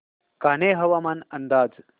कान्हे हवामान अंदाज